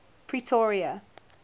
pretoria